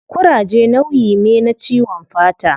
Kuraje nauyi me na ciwon fata